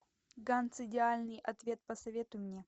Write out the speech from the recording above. ганц идеальный ответ посоветуй мне